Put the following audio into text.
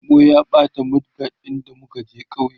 taɓo ya ɓata mud guard ɗin da muka je kauye